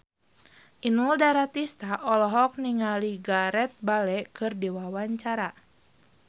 Inul Daratista olohok ningali Gareth Bale keur diwawancara